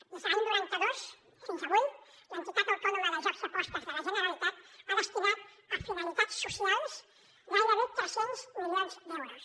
mirin des de l’any noranta dos fins avui l’entitat autònoma de jocs i apostes de la generalitat ha destinat a finalitats socials gairebé tres cents milions d’euros